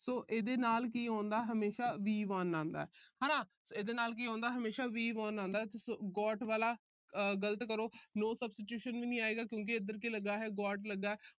so ਇਹਦੇ ਨਾਲ ਕੀ ਆਉਂਦਾ ਹਮੇਸ਼ਾ V one ਆਉਂਦਾ। ਹਨਾ। ਇਹਦੇ ਨਾਲ ਕੀ ਆਉਂਦਾ ਹਮੇਸ਼ਾ V one ਆਉਂਦਾ। so got ਵਾਲਾ ਗਲਤ ਕਰੋ। no substitution ਵੀ ਨਹੀਂ ਆਏਗਾ ਕਿਉਂਕਿ ਇਧਰ ਕੀ ਲੱਗਾ ਹੈ got ਲੱਗਾ ਹੈ।